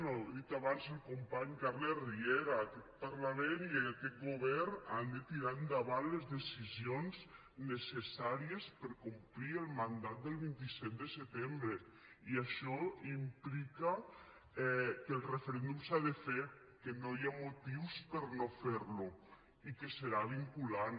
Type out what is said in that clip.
ja ho ha dit abans el company carles riera aquest parlament i aquest govern han de tirar endavant les decisions necessàries per a complir el mandat del vint set de setembre i això implica que el referèndum s’ha de fer que no hi ha motius per a no fer lo i que serà vinculant